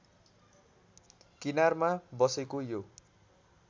किनारमा बसेको यो